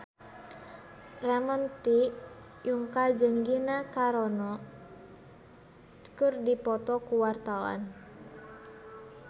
Ramon T. Yungka jeung Gina Carano keur dipoto ku wartawan